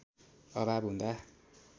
अभाव हुँदा